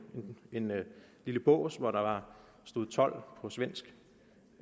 lille bås hvor der stod told på svensk